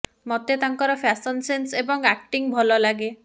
ମତେ ତାଙ୍କର fashion sense ଏବଂ ଆକ୍ଟିଂ ଭଲ ଲାଗେ